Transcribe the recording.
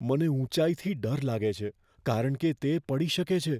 મને ઊંચાઈથી ડર લાગે છે કારણ કે તે પડી શકે છે.